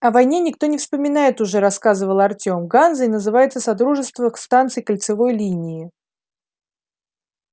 о войне никто и не вспоминает уже рассказывал артем ганзой называлось содружество станций кольцевой линии